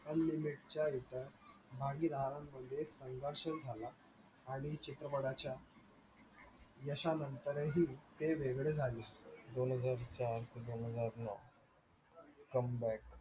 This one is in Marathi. unlimit च्या एका मागील आरामध्ये नेराश्य झाला आणि चित्रपटाच्या यशा नंतरही ते वेगळे झाले. दोन हजार चार दोन हजार नऊ comeback